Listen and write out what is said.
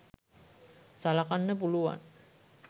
සළකන්න පුළුවන්.